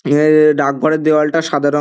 ইহা এ ডাকঘরের দেওয়ালটা সাদা রঙ--